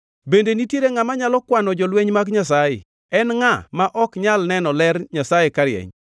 Bende nitiere ngʼama nyalo kwano jolweny mag Nyasaye? En ngʼa ma ok nyal neno ler Nyasaye karieny?